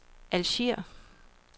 Alger